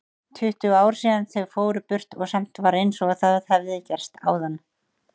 Tuttugu ár síðan þau fóru burt og samt var einsog það hefði gerst áðan.